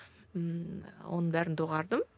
ммм оның бәрін доғардым